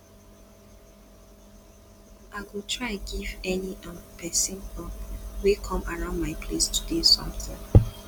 i go try give any um pesin um wey come around my place today something